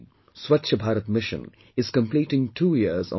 Swachchh Bharat Mission is completing two years on this day